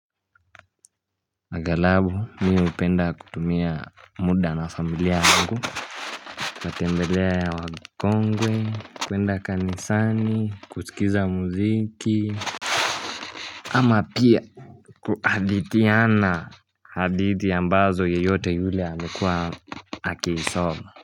Agalau mi upenda kutumia muda na familia yangu, natembelea ya wakongwe, kwenda kanisani, kusikiza muziki, ama pia kuadithiana hadithi ambazo yeyote yule amekuwa akiisoma.